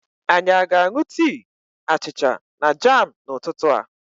Anyị aga aṅụ tii, achịcha na jam n'ụtụtụ a?